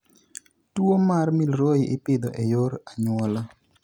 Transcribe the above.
Tuwo mar Milroy ipidho e yor anyuola.